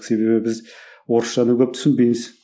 себебі біз орысшаны көп түсінбейміз